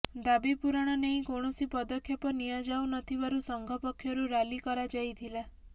ଦାବି ପୂରଣ ନେଇ କୌଣସି ପଦକ୍ଷେପ ନିଆଯାଉ ନ ଥିବାରୁ ସଂଘ ପକ୍ଷରୁ ରାଲି କରାଯାଇଥିଲା